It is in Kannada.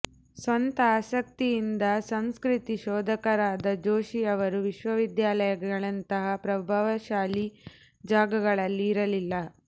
ಸ್ವಂತ ಆಸಕ್ತಿಯಿಂದ ಸಂಸ್ಕೃತಿ ಶೋಧಕರಾದ ಜೋಶಿಯವರು ವಿಶ್ವವಿದ್ಯಾಲಯಗಳಂಥ ಪ್ರಭಾವಶಾಲಿ ಜಾಗಗಳಲ್ಲಿ ಇರಲಿಲ್ಲ